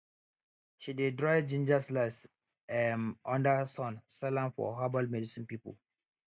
she dey dry ginger slice um under sun sell am for herbal medicine people